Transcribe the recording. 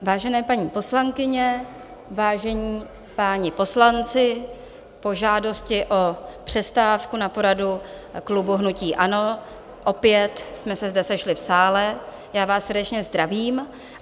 Vážené paní poslankyně, vážení páni poslanci, po žádosti o přestávku na poradu klubu hnutí ANO opět jsme se zde sešli v sále, já vás srdečně zdravím.